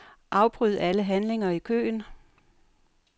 Afbryd alle handlinger i køen.